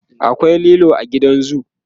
akwai lilo a gidan zoo